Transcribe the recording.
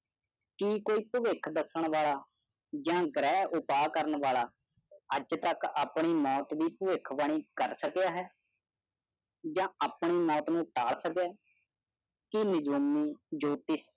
ਜੇ ਕੋਈ ਪਵਿਖ ਦੱਸਣ ਵਾਲਾ ਜਾਂ ਗਰੇ ਉਪਾ ਕਰਨ ਵਾਲਾ ਅੱਜ ਤਕ ਆਪਣੀ ਮੌਤ ਦੀ ਪਵਿਖ ਬਾਣੀ ਕਰ ਸਕਿਆ ਹੈ ਜਾ ਆਪਣੇ ਮੌਤ ਨੂੰ ਪਾ ਸਕਿਆ ਹੈ